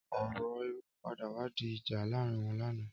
Ọrọ éré pàdá wà di ijà làárin wọn làná